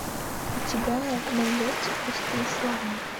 у тебя найдется пустые слова